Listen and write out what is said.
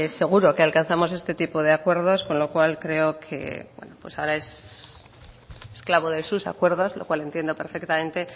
seguro que alcanzamos este tipo de acuerdos con lo cual creo que ahora es esclavo de sus acuerdos lo cual entiendo perfectamente